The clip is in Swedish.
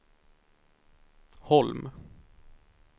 Holm